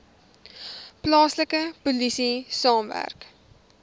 plaaslike polisie saamwerk